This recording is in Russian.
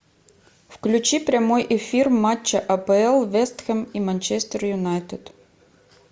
включи прямой эфир матча апл вест хэм и манчестер юнайтед